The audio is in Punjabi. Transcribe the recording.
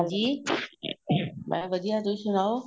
ਹਾਂਜੀ ਮੈਂ ਵਧੀਆ ਤੁਸੀਂ ਸੁਨਾਹੋ